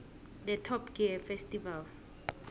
the top gear festival